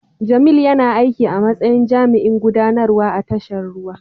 Jamil yana aiki a matsayin jami'in gudanarwa a tashar ruwa.